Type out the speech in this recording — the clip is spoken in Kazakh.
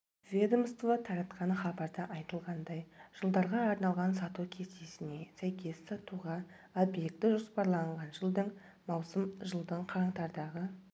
ведомство таратқан хабарда айтылғандай жылдарға арналған сату кестесіне сәйкес сатуға объекті жоспарланған жылдың маусым жылдың қаңтардағы